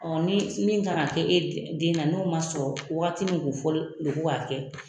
Ɔ ni min kan ka kɛ e den na n'o ma sɔrɔ waati min kun fɔlen ko k'a kɛ